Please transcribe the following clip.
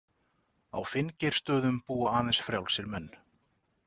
Á Finngeirsstöðum búa aðeins frjálsir menn.